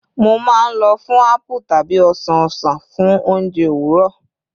Mo maa n lọ fun apple tabi osan osan fun ounjẹ owurọ